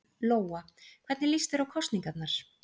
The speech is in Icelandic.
Lóa: Hvernig líst þér á kosningarnar?